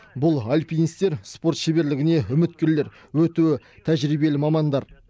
бұл альпинистер спорт шеберлігіне үміткерлер өте тәжірибелі мамандар